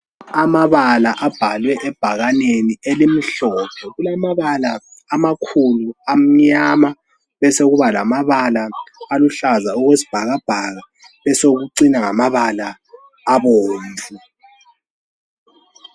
Amabala abhalwe ebhakaneni elimhlophe. Kulamabala amakhulu amnyama, besekuba lamabala aluhlaza okwesibhakabhaka, besokucina ngamabala abomvu.